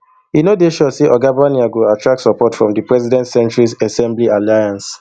e no dey sure say oga barnier go attract support from di president centrist ensemble alliance